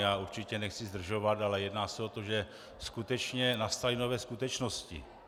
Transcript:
Já určitě nechci zdržovat, ale jedná se o to, že skutečně nastaly nové skutečnosti.